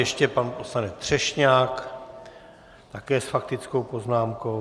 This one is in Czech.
Ještě pan poslanec Třešňák také s faktickou poznámkou.